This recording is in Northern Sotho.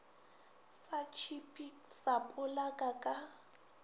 sa tšhipi sa polaka ka